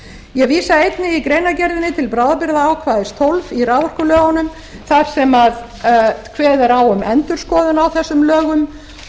ég vísa einnig í greinargerðinni til bráðabirgðaákvæðis fólks í raforkulögunum þar sem kveðið er á um endurskoðun á þessum lögum og ég tel